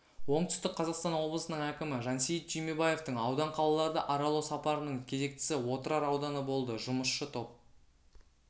оңтүстік қазақстан облысының әкімі жансейіт түймебаевтың аудан қалаларды аралау сапарының кезектісі отырар ауданы болды жұмысшы топ